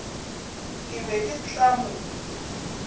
ke be ke tla mo